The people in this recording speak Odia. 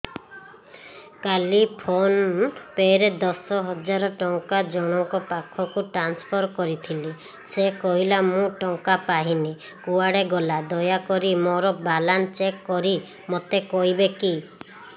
କାଲି ଫୋନ୍ ପେ ରେ ଦଶ ହଜାର ଟଙ୍କା ଜଣକ ପାଖକୁ ଟ୍ରାନ୍ସଫର୍ କରିଥିଲି ସେ କହିଲା ମୁଁ ଟଙ୍କା ପାଇନି କୁଆଡେ ଗଲା ଦୟାକରି ମୋର ବାଲାନ୍ସ ଚେକ୍ କରି ମୋତେ କହିବେ କି